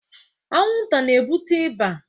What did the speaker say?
anwụnta na-ebute ịba